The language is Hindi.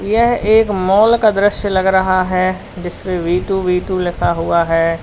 यह एक माल का दृश्य लग रहा है जिसपे वी टु वी टु लिखा हुआ है।